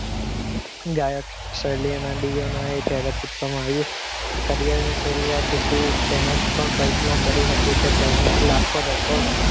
જયારે પૂછવામાં આવ્યું એકાદ તેમજ કલ્પના કરી હતી તેને લાખો